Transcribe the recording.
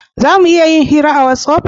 Za mu iya yin hira a watsapp?